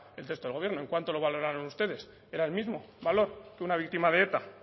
el texto del gobierno en cuánto lo valoraron ustedes era el mismo valor que una víctima de eta